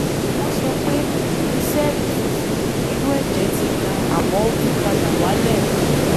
wọ́n sọ pé iye sẹ́ẹ̀lì funfun inú ẹ̀jẹ̀ ti ga àmọ́ ó tún padà wálẹ̀